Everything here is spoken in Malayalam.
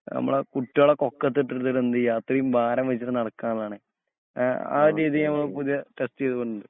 നമ്മളെ കുട്ടികളെയൊക്കെ ഒക്കത്തിട്ടിട്ട് എന്തുചെയ്യാ അത്രെയും ഭാരംവഹിച്ചിട്ട് നടക്കാനുള്ളതാണ്. എ ആ ഒരു രീതി നമ്മള് പുതിയ ടെസ്റ്റ് ചെയ്‌തുണ്ട്.